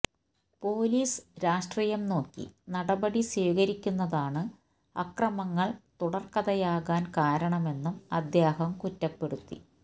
police രാഷ്ട്രീയം നോക്കി നടപടി സ്വീകരിക്കുന്നതാണ് അക്രമങ്ങൾ തുടർക്കഥയാകാൻ കാരണമെന്നും അദ്ദേഹം കുറ്റപ്പെടുത്തി